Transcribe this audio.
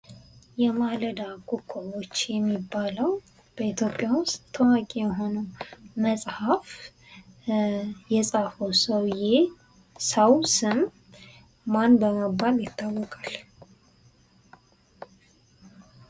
የማለዳ ኮከቦች የሚባለው በኢትዮጵያ ውስጥ ታዋቂ የሆነው መጽሃፍ የፃፈው ሰውዬ ሰው ስም ማን በመባል ይታወቃል?